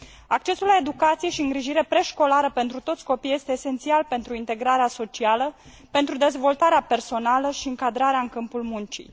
Accesul la educație și îngrijire preșcolară pentru toți copiii este esențial pentru integrarea socială, pentru dezvoltarea personală și încadrarea în câmpul muncii.